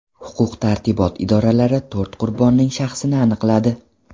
Huquq-tartibot idoralari to‘rt qurbonning shaxsini aniqladi.